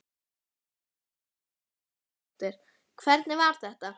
Jóhanna Margrét Gísladóttir: Hvernig var þetta?